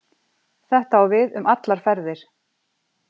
Þetta á við um allar ferðir